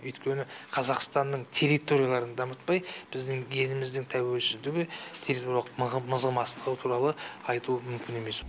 өйткені қазақстанның территорияларын дамытпай біздің еліміздің тәуелсіздігі мызғымастығы туралы айту мүмкін емес